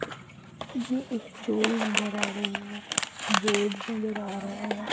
ये एक चोल नज़र आ रही है बोर्ड नजर आ रहा है।